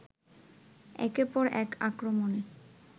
একের পর এক আক্রমণে